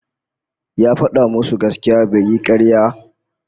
Ya fada musu gaskiya bai yi karya